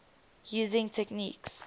using techniques